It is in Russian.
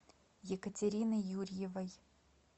екатерины юрьевой